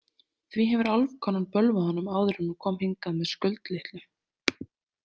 Því hefur álfkonan bölvað honum áður en hún kom hingað með Skuld litlu.